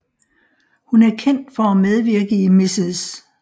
Hun er kendt for at medvirke i Mrs